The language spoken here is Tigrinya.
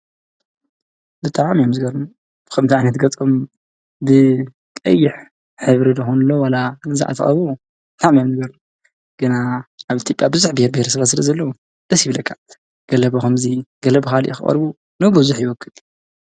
ብጣዕሚ እዮም ዝገርሙ ከምዚ ዓይነት ገፆም ብቀይሕ ሕብሪ ዶ ክንብሎ ዋላ ግዛዕ ተቐብኡ ብጣዕሚ እዮም ዝገርሙ ግና ኣብ ኢትዮጵያ ብዙሕ ቢሄርብሄረሰብ ስለ ዘለው ደስ ይብለካ ገለ ብከምዚ ገለብ ካሊእ ክቐርቡ ንብዝሕ ይውክል።